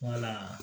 Wala